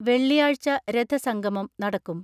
വെള്ളിയാഴ്ച രഥസംഗമം നടക്കും.